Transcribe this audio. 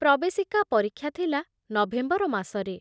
ପ୍ରବେଶିକା ପରୀକ୍ଷା ଥିଲା ନଭେମ୍ବର ମାସରେ ।